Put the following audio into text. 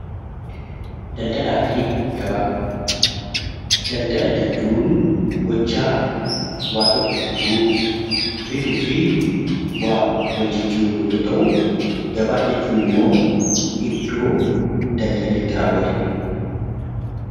Daldala jechuun gochaa waan tokko gurguruu , bituu fi waa wal jijjiiruu yoo ta'u gabaa jechuun immoo iddoo daldalli itti raawwatudha .